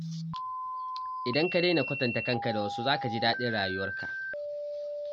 Idan ka daina kwatanta kanka da wasu, za ka ji daɗin rayuwarka.